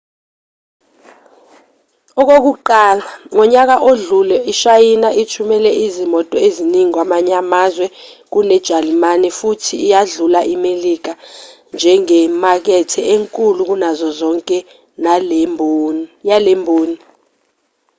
okokuqala ngonyaka odlule ishayina ithumele izimoto eziningi kwamanye amazwe kunejalimane futhi yadlula imelika njengemakethe enkulu kunazo zonke yalemboni